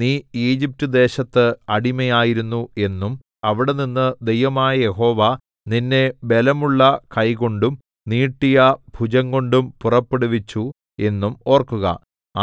നീ ഈജിപ്റ്റ് ദേശത്ത് അടിമയായിരുന്നു എന്നും അവിടെനിന്നു ദൈവമായ യഹോവ നിന്നെ ബലമുള്ള കൈകൊണ്ടും നീട്ടിയ ഭുജംകൊണ്ടും പുറപ്പെടുവിച്ചു എന്നും ഓർക്കുക